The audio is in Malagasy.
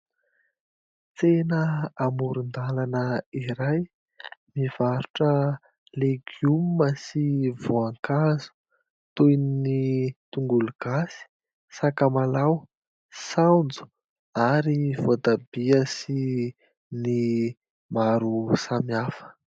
Tsena amoron-dalana iray; mivarotra legioma sy voankazo toy ny: tongolo gasy, sakamalao, saonjo ary voatabia sy ny maro samihafa.